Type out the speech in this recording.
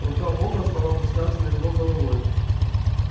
рука бога стала опускаться над его головой